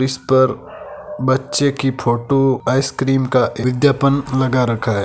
इस पर बच्चे की फोटो आइसक्रीम का विज्ञापन लगा रखा है।